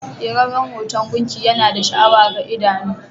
Keraren hoton gunki Yana da sha'awa ga idano.